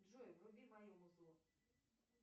джой вруби мое музло